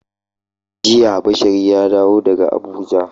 Jiya Bashari ya dawo daga Abuja.